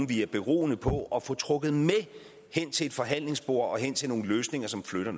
vi er beroende på at få trukket med hen til et forhandlingsbord og hen til nogle løsninger som flytter